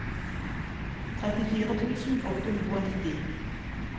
trettifire tusen åtte hundre og nitti